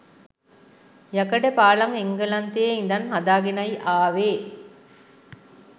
යකඩ පාලම් එංගලන්තයේ ඉඳන් හදාගෙනයි ආවේ.